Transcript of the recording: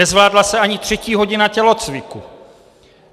Nezvládla se ani třetí hodina tělocviku.